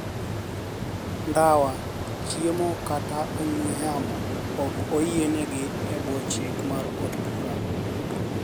Ndawa, chiemo kata ong`we yamo ok oyienegi e bwo chik mar od bura